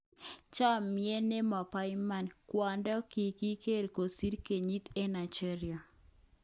Chomiet nemoboiman:kwondo kikiger kosir kenyit eng Nigeria